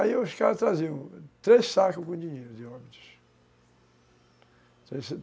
Aí os caras traziam três sacos com dinheiro de Óbidos.